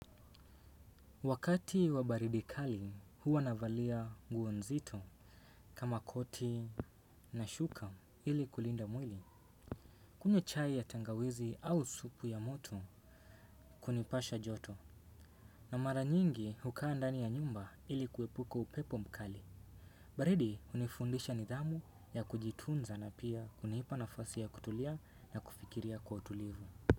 Wakati wa baridi kali huwa navalia nguo nzito kama koti na shuka ili kulinda mwili. Kunywa chai ya tangawizi au supu ya moto kunipasha joto. Na mara nyingi hukaa ndani ya nyumba ili kuepuka upepo mkali. Baridi hunifundisha nidhamu ya kujitunza na pia hunipa nafasi ya kutulia na kufikiria kwa utulivu.